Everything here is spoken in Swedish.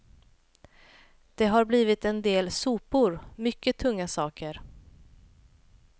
Det har blivit en del sopor, mycket tunga saker.